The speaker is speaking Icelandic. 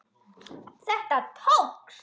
Þetta tókst!